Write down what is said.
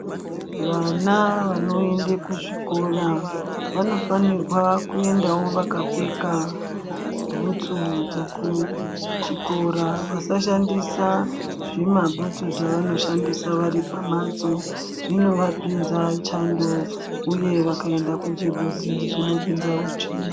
Vana vanoende kuzvikora, vanofanirwa kuendawo vakapfeka bhutsu dzekuchikora, vasashandisa zvimabhutsu zvavanoshandisa varipamhatso zvinovapinza chando uye vakaenda kunzvimbo dzinopinzawo tsvina.